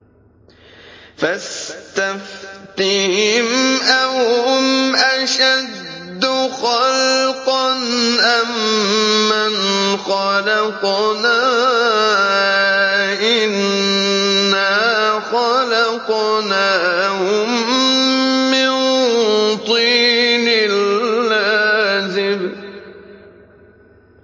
فَاسْتَفْتِهِمْ أَهُمْ أَشَدُّ خَلْقًا أَم مَّنْ خَلَقْنَا ۚ إِنَّا خَلَقْنَاهُم مِّن طِينٍ لَّازِبٍ